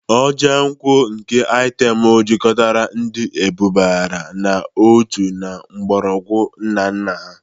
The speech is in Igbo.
Ojo nkwu nke item jikọtara ndi edubara n'otu na mgbọrọgwụ nna nna ha.